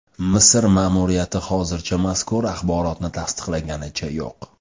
Misr ma’muriyati hozircha mazkur axborotni tasdiqlaganicha yo‘q.